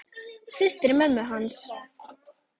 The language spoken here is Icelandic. Systur mömmu og hans.